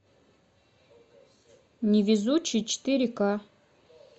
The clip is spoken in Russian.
невезучий четыре ка